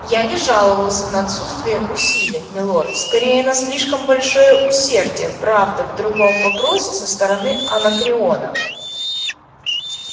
я не жаловался на отсутствие усилий милорд скорее на слишком большое усердие правда в другом вопросе со стороны анакреона